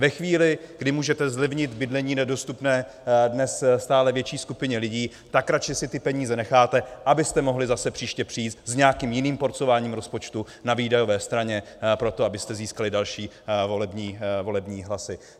Ve chvíli, kdy můžete zlevnit bydlení nedostupné dnes stále větší skupině lidí, tak si radši ty peníze necháte, abyste mohli zase příště přijít s nějakým jiným porcováním rozpočtu na výdajové straně proto, abyste získali další volební hlasy.